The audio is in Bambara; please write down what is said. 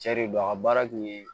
Cɛ de don a ka baara tun ye